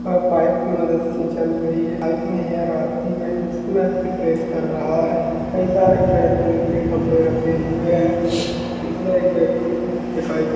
Pipe की मदत से चल रही है। पाइप में यह रहती है प्रेस कर रहा है कई सारे प्रेस करने के लिए कपड़े रखे हुए हैं जिसमें एक व्यक्ति दिखाई दे--